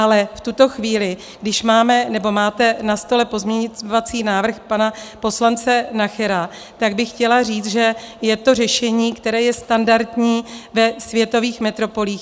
Ale v tuto chvíli, když máme, nebo máte na stole pozměňovací návrh pana poslance Nachera, tak bych chtěla říct, že je to řešení, které je standardní ve světových metropolích.